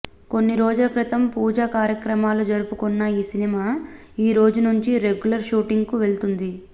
కొన్ని రోజుల క్రితం పూజ కార్యక్రమాలు జరుపుకున్న ఈ సినిమా ఈ రోజు నుంచి రెగ్యులర్ షూటింగ్ కు వెళ్తుంది